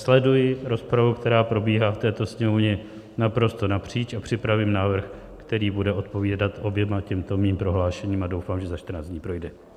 Sleduji rozpravu, která probíhá v této Sněmovně naprosto napříč, a připravím návrh, který bude odpovídat oběma těmto mým prohlášením, a doufám, že za 14 dní projde.